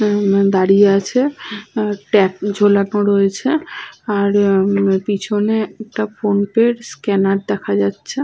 উম দাঁড়িয়ে আছে। ট্যাগ ঝোলানো রয়েছে। আর পেছনে একটা ফোন-পে স্ক্যানার দেখা যাচ্ছে।